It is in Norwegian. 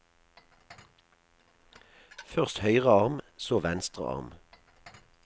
Først høyre arm, så venstre arm.